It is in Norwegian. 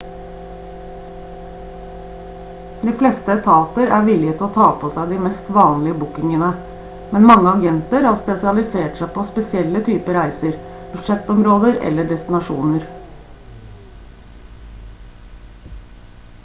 de fleste etater er villige til å ta på seg de mest vanlige bookingene men mange agenter har spesialisert seg på spesielle typer reiser budsjettområder eller destinasjoner